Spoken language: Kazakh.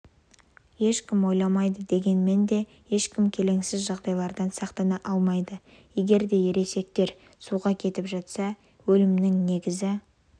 ешкім ойламайды дегенмен де ешкім келеңсіз жағдайлардан сақтана алмайды егерде ересектер суға кетіп жатса өлімінің негізі